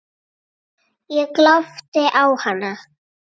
Ég glápti á hana.